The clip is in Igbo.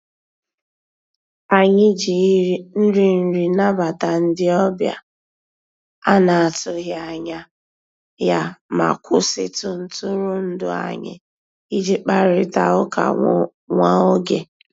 Anyị jì nrì nrì nàbàtà ndị ọbìà a nà-atụghị anyà yá mà kwụsịtụ ntụrụndụ anyị ìjì kparịtà ụkà nwá ògè.